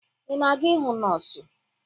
Ị na-aga ịhụ nọọsụ?